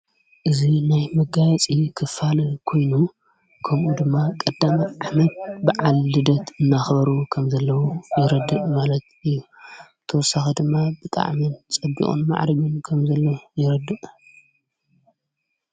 እዙ ናይ መጋያፂ ኽፋን ኮይኑ ከምኡ ድማ ቐዳማት ዓመድ ብዓልደት እናኽበሩ ከም ዘለዉ የረድእ ማለት እዩ ተሳኺ ድማ ብጣዕሚ ጸቢቁን መዕሪግን ከም ዘለዉ የረድእ።